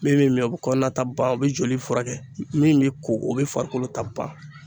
Min bɛ min o bɛ kɔnɔna ta ban o bɛ joli furakɛ min bɛ ko o bɛ farikolo ta ban